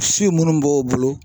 Si minnu b'o bolo